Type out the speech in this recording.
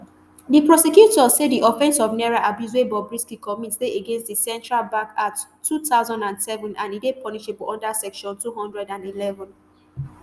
di prosecutors say di offence of naira abuse wey bobrisky commit dey against di central bank act two thousand and seven and e dey punishable under section two hundred and eleven